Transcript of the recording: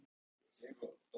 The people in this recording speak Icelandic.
Mokað og saltað.